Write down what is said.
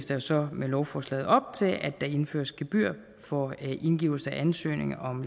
der så med lovforslaget op til at der indføres gebyrer for indgivelse af ansøgning om